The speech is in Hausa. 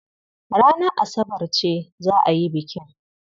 Ranar Asabar ce za a yi bikin.